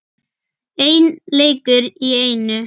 Einn leikur í einu.